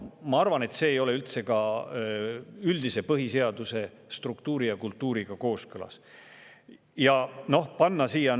Ma arvan, et see ei ole põhiseaduse üldise struktuuri ja kultuuriga üldse kooskõlas.